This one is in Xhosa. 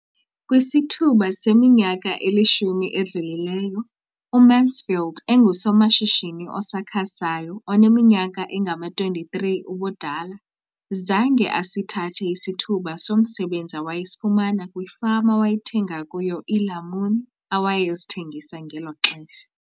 Kwisithuba seminyaka elishumi edlulileyo, uMansfield engusomashishini osakhasayo oneminyaka engama-23 ubudala, zange asithathe isithuba somsebenzi awayesifumana kwifama awayethenga kuyo iilamuni awayezithengisa ngelo xesha.